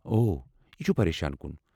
او، یہ چُھ پریشان کُن ۔